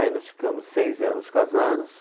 Aí nós ficamos seis anos casados.